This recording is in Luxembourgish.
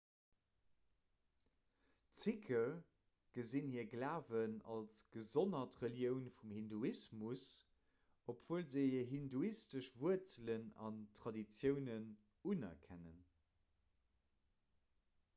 d'sikhe gesinn hire glawen als gesonnert relioun vum hinduismus obwuel se hir hinduistesch wuerzelen an traditiounen unerkennen